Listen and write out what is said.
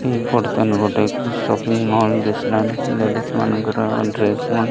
ଏହି ପଡ଼ତାନୁ ଗୋଟେ ସପିଙ୍ଗ ମଲ୍ ଦିସଲାନି ଲେଡି଼ସ୍ ମାନଙ୍କର ଡ୍ରେସ୍ ମନେ --